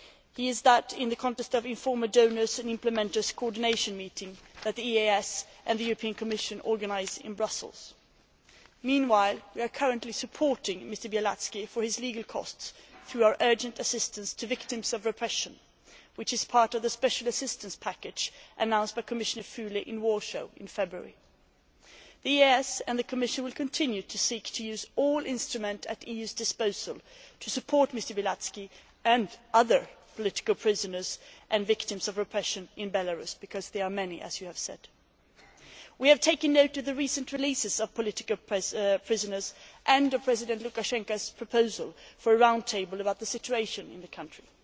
He does that in the context of informing donors and implementers' coordination meetings that the EAS and the Commission organise in Brussels. Meanwhile we are currently supporting Mr Bialatski for his legal costs through our urgent assistance to victims of repression, which is part of the special assistance package announced by Commissioner Füle in Warsaw in February. The EAS and the Commission will continue to seek to use all instruments at the EU's disposal to support Mr Bialatski and other political prisoners and victims of repression in Belarus, because there are many, as you have said. We have taken note of the recent release of political prisoners and of President Lukashenko's proposal for a Round Table about the situation in the country.